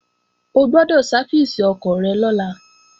O gbọ́dọ̀ sáfìsì ọkọ̀ rẹ lọ́la!